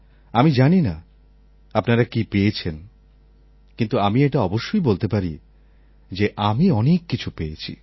আমি জানি না আপনারা কি পেয়েছেন কিন্তু আমি এটা অবশ্যই বলতে পারি যে আমি অনেক কিছু পেয়েছি